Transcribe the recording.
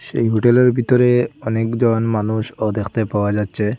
সেই হোটেলের ভিতরে অনেকজন মানুষও দেখতে পাওয়া যাচ্ছে।